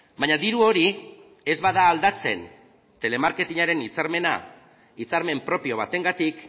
baina diru hori ez bada aldatzen telemarketingaren hitzarmena hitzarmen propio batengatik